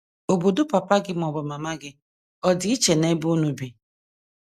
Obodo papa gị ma ọ bụ mama gị ọ̀ dị iche n’ebe unu bi?